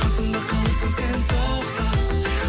қасымда қаласың сен тоқта